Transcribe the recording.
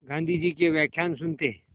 गाँधी जी के व्याख्यान सुनते